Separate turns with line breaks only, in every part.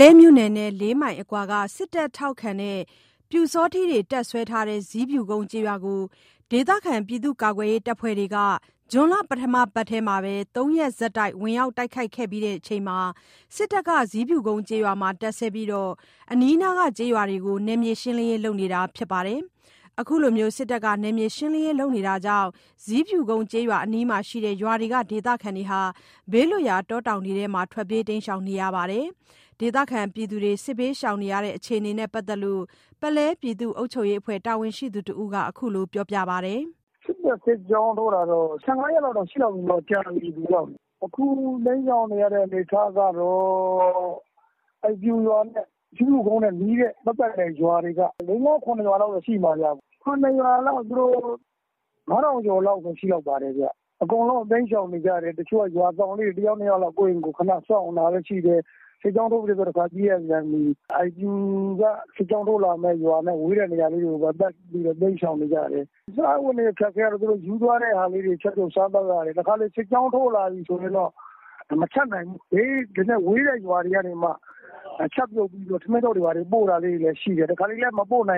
လဲမြို့နယ်နဲ့ ၄ မိုင်အကွာက စစ်တပ်ထောက်ခံတဲ့ ပျူစောထီးတွေ တပ်စွဲထားတဲ့ ဇီးဖြူကုန်းကျေးရွာကို ဒေသခံကာကွယ်ရေး အဖွဲ့တွေက ၃ ရက် ဆက်တိုက် ဝင်ရောက်တိုက်ခိုက်ပြီးချိန်မှာ စစ်တပ်က ဇီးဖြူကုန်းကျေးရွာမှာ တပ်စွဲပြီး အနီးနားက ကျေးရွာတွေကို နယ်မြေရှင်းလင်းရေး လုပ်နေတာ ဖြစ်ပါတယ်။ အခုလို စစ်တပ်က နယ်မြေရှင်းလင်းရေးလုပ်နေတာကြောင့် ဇီးဖြူကုန်းကျေးရွာ အနီးမှာရှိတဲ့ ရွာတွေက ဒေသခံတွေဟာ ဘေးလွတ်ရာ တောတောင်တွေထဲ တိမ်းရှောင်နေရပါတယ်။ ဒေသခံတွေ စစ်ဘေးရှောင်နေရတဲ့ အခြေအနေနဲ့ ပတ်သက်လို့ ပုလဲပြည်သူ့ အုပ်ချုပ်ရေးအဖွဲ့ တာဝန်ရှိသူတဦးက အခုလို ပြောပါတယ်။
“စစ်တပ်စစ်ကြောင်းထိုးတာ ၁၅ ရက်လောက်ရှိပြီ၊ ကြာပြီနော် သူတို့ရောက်နေတာ။ အခုတိမ်းရှောင်နေရတဲ့ အနေအထားကတော့ အဲ့ ပျူရွာနဲ့ ဇီးဖြူကုန်းနဲ့နီးတဲ့ ပတ်ပတ်လည်ရွာတွေက ၄-၅-၇ ရွာလောက်တော့ရှိမယ်။ ၇ ရွာကို ၅၀၀၀ ကျော်လောက်ရှိမယ်။ အကုန် တိမ်းရှောင်နေကြတယ်။ တချို့က ရွာစောင့်လေး ၁ ယောက် ၂ ယောက်၊ ကိုယ့်အိမ်ကိုယ် စောင့်တာလည်းရှိတယ်။ စစ်ကြောင်းထိုးပြီဟေ့ဆို ပြေးရပြန်ပြီ။ ပျူက စစ်ကြောင်းထိုးလာမယ့် ဝေးတဲ့ရွာတွေကို ပတ်ပြီးတော့ တိမ်းရှောင်နေကြတယ်။ စားဝတ်နေရေးအခက်အခဲက သူတို့ ယူသွားတဲ့ဟာလေးတွေ ချက်ပြုတ်စားသောက်ရတယ်။ တခါတလေ စစ်ကြောင်းထိုးလာပြီဆိုရင်တော့ မချက်နိုင်ဘူး။ ဘေးနည်းနည်းဝေးတဲ့ရွာတွေက ချက်ပြုတ်ပြီး ပို့တာတွေလည်းရှိတယ်။ တခါတလေလည်း မပို့တာ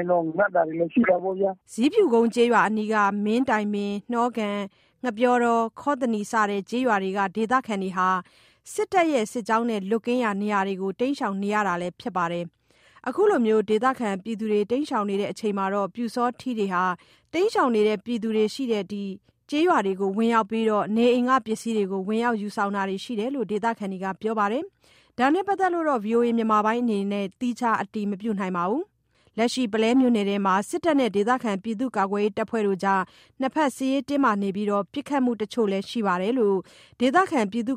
တွေလည်းရှိတော့ ငတ်တာပေါ့ဗျာ
။” ဇီးဖြူကုန်းကျေးရွာအနီးက မင်းတိုင်ပင်၊ နှောကန်၊ ငှက်ပျောတော ခေါ်သန္တီ စတဲ့ ကျေးရွာတွေက ဒေသခံတွေ စစ်တပ်နဲ့စစ်ကြောင်းနဲ့ လွတ်ကင်းရာ နေရာတွေကို တိမ်းရှောင်နေရတာလည်း ဖြစ်ပါတယ်။ အခုလို ဒေသခံတွေ တိမ်းရှောင်နေချိန်မှာ ပျူစောထီးတွေဟာ တိမ်းရှောင်နေတဲ့ ကျေးရွာတွေကိုဝင်ရောက်ပြီး နေအိမ်က ပစ္စည်းတွေကို ဝင်ရောက် ယူဆောင်တာတွေရှိတယ်လို့ ဒေသခံတွေက ပြောပါတယ်။ ဒါနဲ့ ပတ်သက်လို့တော့ ဗွီအိုအေက သီးခြားအတည်မပြုနိုင်ပါဘူး။ လက်ရှိ ပုလဲမြို့နယ်ထဲမှာ စစ်တပ်နဲ့ ဒေသခံကာကွယ်ရေး တပ်ဖွဲ့တွေ ၂ ဘက် စစ်ရေးတင်းမာနေပြီး ပစ်ခတ်မှု အချို့လည်း ရှိတယ်လို့ ဒေသ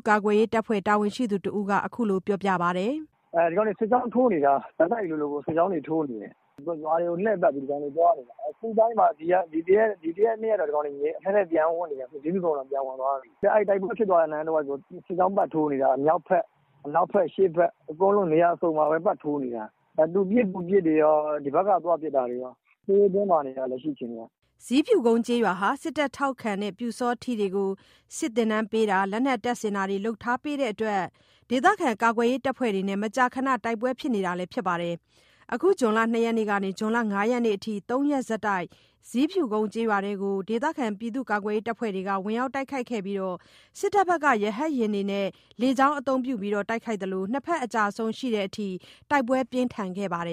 ကာကွယ်ရေးတပ်ဖွဲ့ တာဝန်ရှိသူတဦးက အခုလို ပြောပါတယ်။
“ဒီကောင်တွေ စစ်ကြောင်းထိုးနေတာ။ ဆက်တိုက်လိုလိုကို စစ်ကြောင်းတွေထိုးနေတယ်။ ရွာတွေကို လှည့်ပတ်ပြီး သွားနေတာ။ ဒီ ၁ ရက် ၂ ရက်တော့ နည်းနည်းငြိမ်ပြီး အထဲထဲ ဇီးဖြူကုန်းထဲ ပြန်ဝင်နေတယ်။ တိုက်ပွဲဖြစ်နေတဲ့တဝိုက်ကို စစ်ကြောင်းပတ်ထိုးနေတာ မြောက်ဖက်၊ အရှေ့ဖက်၊ အနောက်ဖက် အကုန်နေရာအစုံပဲ ပတ်ထိုးနေတယ်။ သူပစ် ကိုယ်ပစ်ကော၊ ဒီဘက်က သွားပစ်တာကော စစ်ရေးတင်းမာနေတာ။” ဇီ
းဖြူကုန်းကျေးရွာဟာ စစ်တပ်ထောက်ခံတဲ့ ပျူစောထီးတွေကို စစ်သင်တန်းပေးတာ၊ လက်နက်တပ်ဆင်တာတွေ လုပ်ပေးထားတဲ့အတွက် ဒေသခံကာကွယ်ရေး တပ်ဖွဲ့ဝင်တွေနဲ့ မကြာခဏ တိုက်ပွဲဖြစ်နေတာလည်း ဖြစ်ပါတယ်။ အခု ဇွန်လ ၂ ရက်ကနေ ၅ ရက်အထိ ၃ ရက် ဆက်တိုက် ဇီးဖြူကုန်းကျေးရွာထဲကို ကာကွယ်ရေး အဖွဲ့တွေက ဝင်ရောက်တိုက်ခိုက်ခဲ့ပြီး စစ်တပ်ဘက်က ရဟတ်ယာဉ်တွေနဲ့ လေကြောင်းအသုံးပြု တိုက်ခိုက်ရသလို ၂ ဘက် အကျအဆုံးရှိခဲ့တဲ့အထိ တိုက်ပွဲပြင်းထန်ခဲ့ပါတယ်